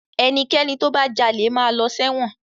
Ẹnikẹ́ni tó bá jalè máa lọ sẹ́wọ̀n.